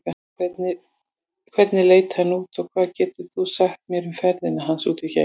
Hvernig leit hann út og hvað getur þú sagt mér um ferðina hans út geim?